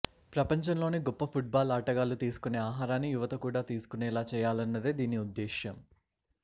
ప్రపంచంలోని గొప్ప ఫుట్బాల్ ఆటగాళ్ళు తీసుకునే ఆహారాన్ని యువత కూడా తీసుకునేలా చేయాలన్నదే దీని ఉద్దేశ్యం